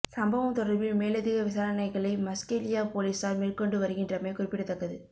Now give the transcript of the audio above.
சம்பவம் தொடர்பில் மேலதிக விசாரணைகளை மஸ்கெலியா பொலிஸார் மேற்கொண்டு வருகின்றமை குறிப்பிடதக்கது